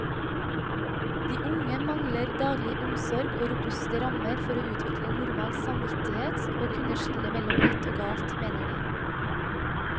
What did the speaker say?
De unge mangler daglig omsorg og robuste rammer for å utvikle normal samvittighet og kunne skille mellom rett og galt, mener de.